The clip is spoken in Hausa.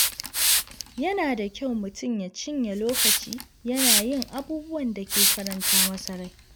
Yana da kyau mutum ya cinye lokaci yana yin abubuwan da ke faranta masa rai.